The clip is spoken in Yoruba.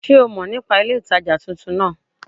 Sé o mo nípa ilé ìtajà titun náà